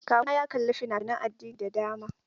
Kawuna ya kalla fina-finan addini da dama.